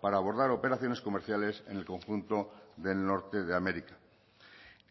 para abordar operaciones comerciales en el conjunto del norte de américa